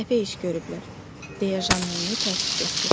Səhvə iş görüblər, deyə Jan Monye təəssüf etdi.